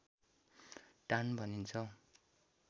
टान भनिन्छ